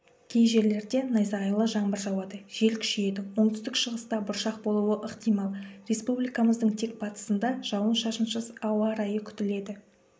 кей жерлерде найзағайлы жаңбыр жауады жел күшейеді оңтүстік шығыста бұршақ болуы ықтимал республикамыздың тек батысында жауын-шашынсыз ауа райы күтіледі